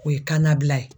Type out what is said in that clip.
O ye kana bila ye